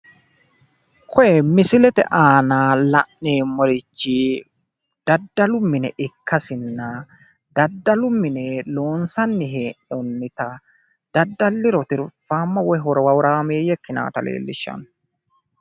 koye misilete aanna la'neemmorichi daddallu mine ikkassinna daddallu mine loonsanni hee'noonnitta daddalliro tirfaamma woy horaammeeyye ikkinannitta leellishshanno.